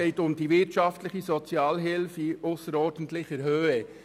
Es geht um die wirtschaftliche Sozialhilfe in ausserordentlicher Höhe.